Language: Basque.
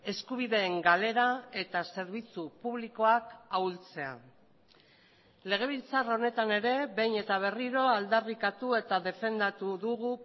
eskubideen galera eta zerbitzu publikoak ahultzea legebiltzar honetan ere behin eta berriro aldarrikatu eta defendatu dugu